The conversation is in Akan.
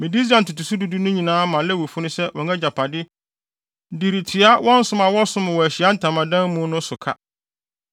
“Mede Israel ntotoso du du no nyinaa ma Lewifo no sɛ wɔn agyapade de retua wɔ som a wɔsom wɔ Ahyiae Ntamadan no mu no so ka.